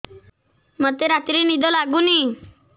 ମୋତେ ରାତିରେ ନିଦ ଲାଗୁନି